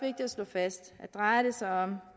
at slå fast at drejer det sig om